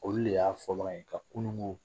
Olu de y'a fɔbaga ye ka kununko